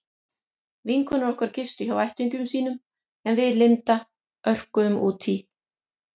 Vinkonur okkar gistu hjá ættingjum sínum en við Linda örkuðum út í